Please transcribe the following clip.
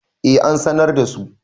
eh an sanar da su